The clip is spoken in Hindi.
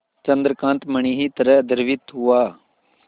चंद्रकांत मणि ही तरह द्रवित हुआ